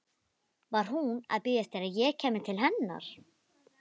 Var hún að bíða eftir að ég kæmi til hennar?